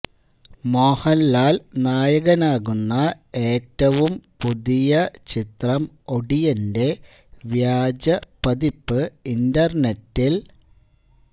മോഹന്ലാല് നായകനാകുന്ന ഏറ്റവും പുതിയ ചിത്രം ഒടിയന്റെ വ്യാജ പതിപ്പ് ഇന്റര്നെറ്റില്